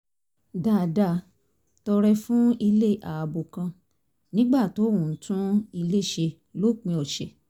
dáadáa tọrẹ fún ilé ààbò kan nígbà tó ń tún ilé ṣe lópin ọ̀sẹ̀